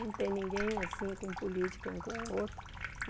Não tem ninguém assim, com política, um com o outro.